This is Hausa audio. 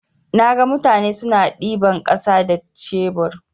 Naga mutane suna ɗiban ƙasa da shebur.